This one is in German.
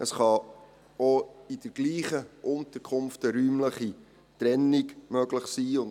Es kann auch in der gleichen Unterkunft eine räumliche Trennung möglich sein.